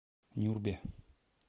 нюрбе